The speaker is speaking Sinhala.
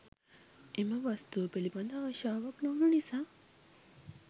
එම වස්තුව පිළිබඳ ආශාවක් නොවුණු නිසා